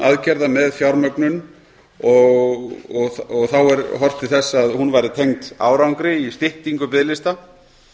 aðgerða með fjármögnun og þá er horft til þess að hún væri tengd árangri í styttingu biðlista